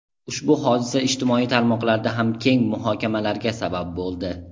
Ushbu hodisa ijtimoiy tarmoqlarda ham keng muhokamalarga sabab bo‘ldi.